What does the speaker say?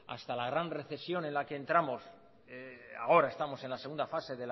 hasta la gran recesión en la que entramos ahora estamos en la segunda fase